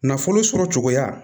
Nafolo sɔrɔ cogoya